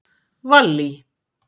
Vallý